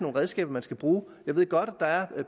redskaber man skal bruge jeg ved godt at der er